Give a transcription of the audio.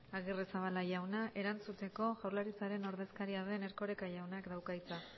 agirrezabala jauna erantzuteko jaurlaritzaren ordezkaria den erkoreka jaunak dauka hitza